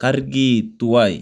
kargi tuwai